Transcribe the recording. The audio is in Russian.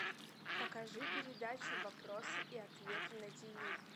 покажи передачу вопросы и ответы на тв